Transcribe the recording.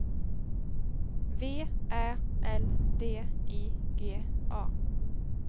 V Ä L D I G A